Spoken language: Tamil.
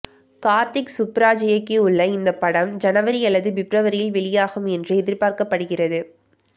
கார்த்திக் சுப்புராஜ் இயக்கியுள்ள இந்த படம் ஜனவரி அல்லது பிப்ரவரியில் வெளியாகும் என்று எதிர்பார்க்கப்படுகிறது